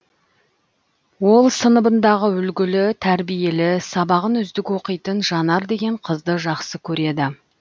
ол сыныбындағы үлгілі тәрбиелі сабағын үздік оқитын жанар деген қызды жақсы көреді